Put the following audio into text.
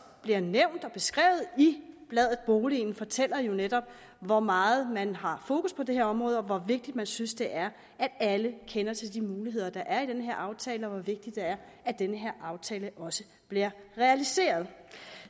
bliver nævnt og beskrevet i bladet boligen fortæller jo netop hvor meget man har fokus på det her område og hvor vigtigt man synes det er at alle kender til de muligheder der er i den her aftale og hvor vigtigt det er at den her aftale også bliver realiseret